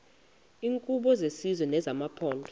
iinkqubo zesizwe nezamaphondo